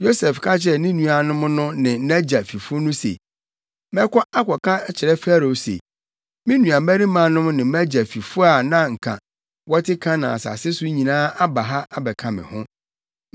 Yosef ka kyerɛɛ ne nuanom no ne nʼagya fifo no se, “Mɛkɔ akɔka akyerɛ Farao se, ‘Me nuabarimanom ne mʼagya fifo a na anka wɔte Kanaan asase so nyinaa aba ha abɛka me ho.